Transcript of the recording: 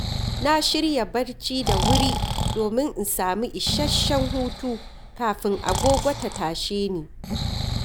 Na shirya barci da wuri domin in sami isasshen hutu kafin agogo ta tashe ni.